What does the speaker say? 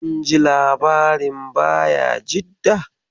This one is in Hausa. Kun ji labarin Bayajidda?